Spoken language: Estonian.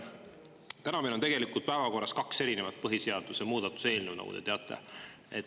Täna meil on tegelikult päevakorras kaks erinevat põhiseaduse muutmise eelnõu, nagu te teate.